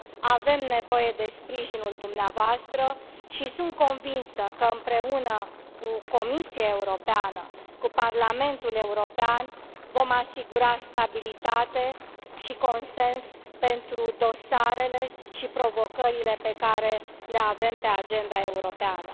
Avem nevoie de sprijinul dumneavoastră și sunt convinsă că, împreună cu Comisia Europeană, cu Parlamentul European, vom asigura stabilitate și consens pentru dosarele și provocările pe care le avem pe agenda europeană.